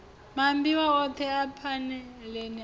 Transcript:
maambiwa othe a phanele a